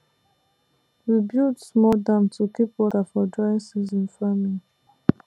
we build small dam to keep water for dry season farming